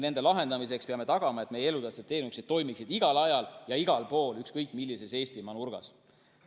Nende lahendamiseks peame tagama, et meie elutähtsad teenused toimiksid igal ajal ja igal pool ükskõik millises Eestimaa nurgas.